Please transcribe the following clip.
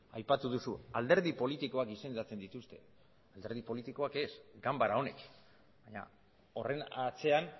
aipatu duzu alderdi politikoek izendatzen dituzte alderdi politikoek ez ganbara honek baina horren atzean